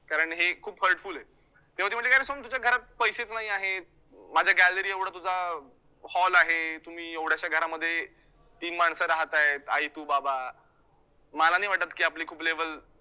कारण हे खूप hurtfull आहे, तेव्हा ती म्हंटली काय रे सोहम, तुझ्या घरात पैसेच नाही आहेत. माझ्या gallary एवढा तुझा hall आहे, तुम्ही एवढ्याश्या घरामध्ये तीन माणसं राहताहेत आई, तु, बाबा, मला नाही वाटतं की आपली खूप level